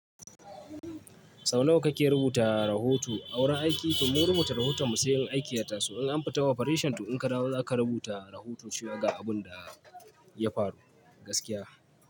Sau nawa kake rubuta rahoto a wurin aiki? To mu rubuta rahoton mu sai in aiki ya tasu. In an fita operation to in ka dawo za ka rubuta rahoto shi ya ga abin da ya faru gaskiya.